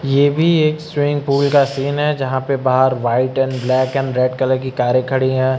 ये भी एक स्विमिंग पूल का सीन है जहां पर बाहर white and black and red colour की कारें खड़ी हैं।